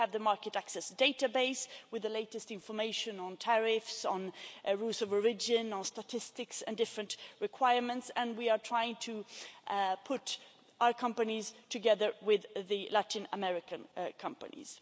We have the Market Access Database with the latest information on tariffs, rules of origin, statistics and different requirements and we are trying to put our companies together with the Latin American companies.